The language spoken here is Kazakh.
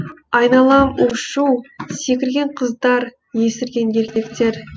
айналам у шу секірген қыздар есірген еркектер